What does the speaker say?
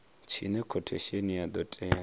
tshine khothesheni ya do tea